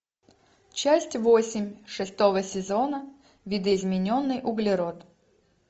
часть восемь шестого сезона видоизмененный углерод